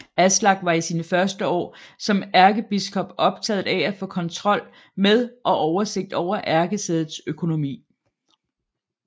Aslak var i sine første år som ærkebiskop optaget af at få kontrol med og oversigt over ærkesædets økonomi